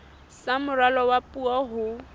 sa moralo wa puo ho